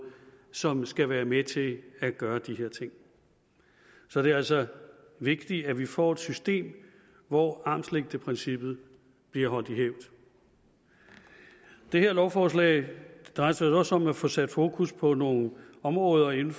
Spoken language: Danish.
som skal være med til at gøre de her ting så det er altså vigtigt at vi får et system hvor armslængdeprincippet bliver holdt i hævd det her lovforslag drejer sig i øvrigt også om at få sat fokus på nogle områder inden